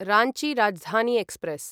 Ranchi Rajdhani express